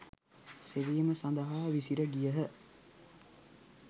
සෙවීම සඳහා විසිර ගියහ.